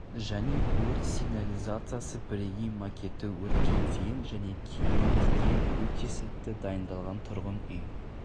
және өрт сигнализациясы бірегей макеты өртке дейін және кейін деген өте сәтті дайындалған тұрғын үй